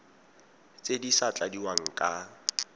tse di sa tladiwang ka